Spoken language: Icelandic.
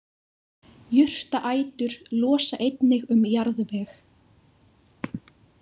Jurtaætur losa einnig um jarðveg.